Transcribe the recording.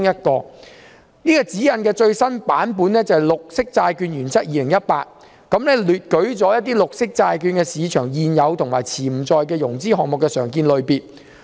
這套指引的最新版本是《綠色債券原則2018》，當中列舉了綠色債券市場現有及潛在融資項目的常見類別。